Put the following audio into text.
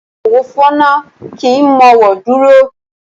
Afọwọ́fọnná kì í mọ́wọ́ dúró.